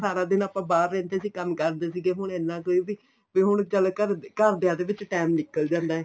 ਸਾਰਾ ਦਿਨ ਆਪਾਂ ਬਾਹਰ ਰਹਿੰਦੇ ਸੀਗੇ ਕੰਮ ਕਰਦੇ ਸੀਗੇ ਹੁਣ ਇੰਨਾ ਕੋਈ ਬੀ ਜੇ ਹੁਣ ਚੱਲ ਘਰਦੇ ਘਰਦਿਆ ਦੇ ਵਿੱਚ time ਨਿਕਲ ਜਾਂਦਾ